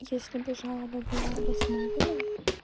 если бы жалоба была обоснована